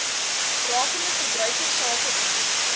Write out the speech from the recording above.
rakende verbruikersake diens